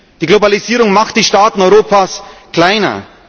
Die Globalisierung macht die Staaten Europas kleiner.